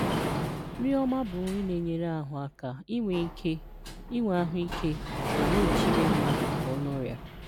Nri ọma bụ nri na-enyere ahụ aka inwe ike, inwe ahụike, ma na-echebe mmadụ pụọ na ọrịa.